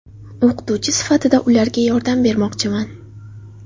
O‘qituvchi sifatida ularga yordam bermoqchiman.